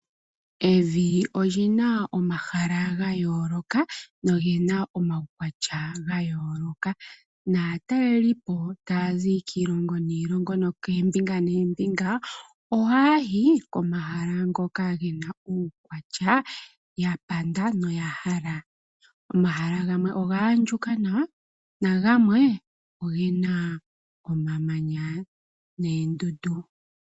Evi olyina omahala ga yooloka nolyina omaukwatya ga yooloka naatalelipo ta yazi kiilongo niilongo no koombinga noombinga oha yayi komahala ngoka gena uukwatya ya panda no yahala. Omahala gamwe oga andjuka nawa na gamwe ogena omamanya noondundu.